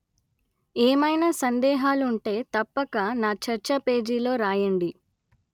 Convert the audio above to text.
ఏమయినా సందేహాలుంటే తప్పక నా చర్చపేజీలో రాయండి